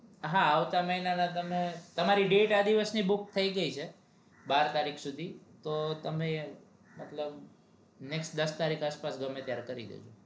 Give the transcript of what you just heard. હા આવતા મહિનાના તમારા date આ દિવસ ની book થઈ ગઈ છે તો તમને next દસ તારીખ આસપાસ ગમેત્યારે કરી દેજો